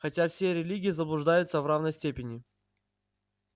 хотя все религии заблуждаются в равной степени